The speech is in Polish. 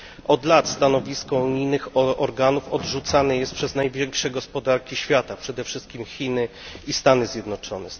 Od lat stanowisko unijnych organów odrzucane jest przez największe gospodarki świata, przede wszystkim Chiny i Stany Zjednoczone.